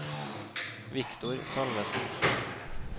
Viktor Salvesen